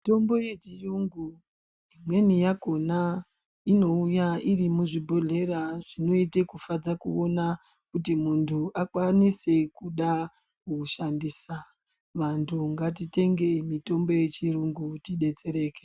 Mitombo yechiyungu imweni yakhona inouya iri muzvibhodhleya zvinoite kufadza kuona kuti muntu akwanise kuda kuishandisa. Vantu ngatitenge mitombo yechiyungu tidetsereke.